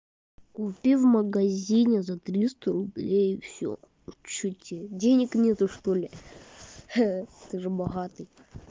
купи в магазине за триста рублей и всё у тебя что денег нету что-ли ха ты же богатый